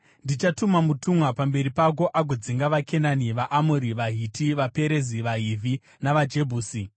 Ndichatuma mutumwa pamberi pako agodzinga vaKenani, vaAmori, vaHiti, vaPerezi, vaHivhi navaJebhusi.